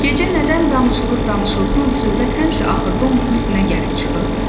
Gecə nədən danışılır danışılsın, söhbət həmişə axırda onun üstünə gəlib çıxırdı.